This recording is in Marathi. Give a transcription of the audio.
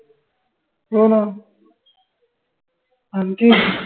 हो ना आनखी